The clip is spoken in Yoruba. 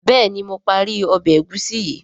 béèni mo parí Ọbẹ̀ egusi yi.